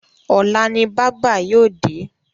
Ọ̀la ni bábà yóò dé.